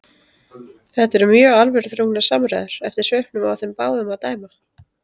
Þetta eru mjög alvöruþrungnar samræður eftir svipnum á þeim báðum að dæma.